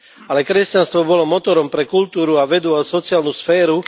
Ale kresťanstvo bolo motorom pre kultúru a vedu a sociálnu sféru.